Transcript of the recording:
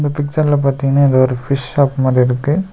பிசக்ர்ல பாத்தீங்னா இது ஒரு ஃபிஷ் ஷாப் மாரி இருக்கு.